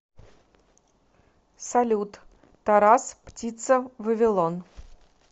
салют тарас птица вавилон